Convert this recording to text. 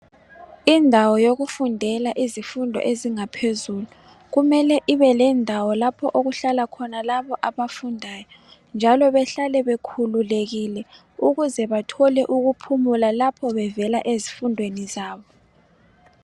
Indawo yokufundela izifundo ezingaphezelu kumele ibelendawo lapho okuhlala khona labo abafundayo njalo behlale bekhululekile ukuze bathole ukuphumula lapho bevela ezifundweni zabo.